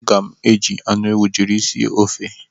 Aga m eji anụ ewu jiri sie ofe